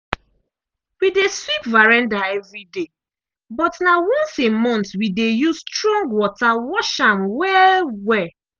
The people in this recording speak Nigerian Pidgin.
we dey sweep veranda evri day but na once a month we dey use strong water wash am well-well.